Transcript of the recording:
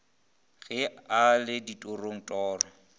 ge a le ditorong ditoro